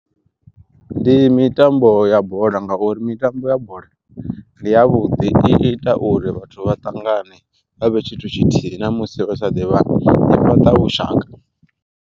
Ndi mitambo ya bola ngauri mitambo ya bola ndi ya vhuḓi, i ita uri vhathu vha ṱangane vhavhe tshithu tshithihi ṋamusi vha sa ḓivhani i fhaṱa vhushaka.